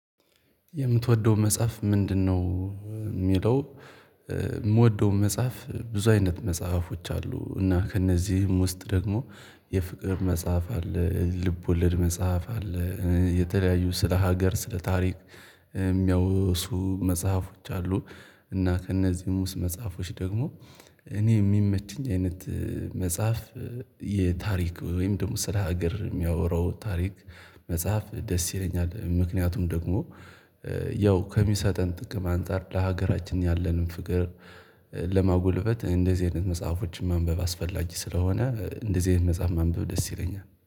የምትወደው መጽሐፍ ምንድንነው የሚለው? እምወደው መጽሐፍ ብዙ አይነት መጽሐፎች አሉ እና ከእነዚህም ውስጥ ደግሞ የፍቅር መጽሐፍ አለ ልብ ወለድ መጽሐፍ አለ የተለያዩ ስለ ሀገር ስለ ታሪክ የሚያወሱ መጽሐፎች አሉ። እና ከእነዚህ ሙሉ መጽሐፎች ደግሞ እኔ የሚመችኝ አይነት መጽሐፍ የታሪክ ወይም ደግሞ ስራ ሀገር የሚያወራው ታሪክ መጽሐፍ ደስ ይለኛል። ምክንያቱም ደግሞ ያው ከሚሰጠን ጥቅም አንፃር ለሀገራችን ያለንን ፍቅር ለማጎልበት እንደዚህ አይነት መጽሐፎችን ማንበብ አስፈላጊ ስለሆነ እንደዚህ አይነት መጽሐፍ ማንበብ ደስ ይለኛል